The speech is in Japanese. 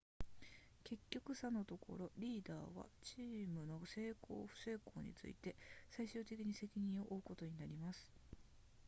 結局さのところリーダーはチームの成功不成功について最終的に責任を負うことになります